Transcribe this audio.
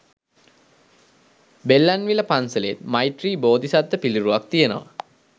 බෙල්ලන්විල පන්සලෙත් මෛත්‍රි බෝධිසත්ව පිළිරුවක් තියනවා.